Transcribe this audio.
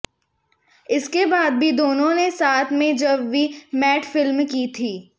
इसके बाद भी दोनों ने साथ में जब वी मेट फिल्म की थी